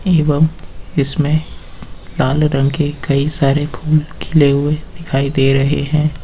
एवं इसमें काले रंग के कई सारे फूल खिले हुए दिखाई दे रहे हैं।